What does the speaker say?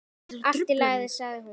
Allt í lagi, sagði hún.